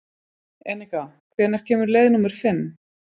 Enika, hvenær kemur leið númer fimm?